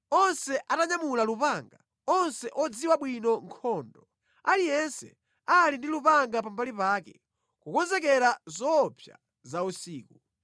onse atanyamula lupanga, onse odziwa bwino nkhondo, aliyense ali ndi lupanga pambali pake, kukonzekera zoopsa za usiku.